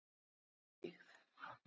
Lerkibyggð